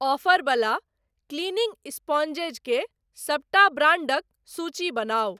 Offer बला cleaning sponges के सबटा ब्रांडक सूची बनाउ।